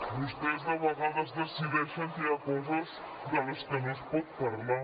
vostès a vegades decideixen que hi ha coses de les que no es pot parlar